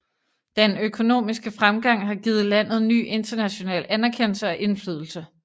Den økonomiske fremgang har givet landet ny international anerkendelse og indflydelse